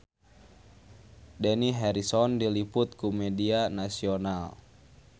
Dani Harrison diliput ku media nasional